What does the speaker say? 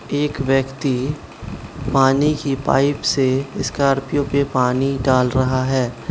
एक व्यक्ति पानी की पाइप से स्कॉर्पियो पे पानी डाल रहा है।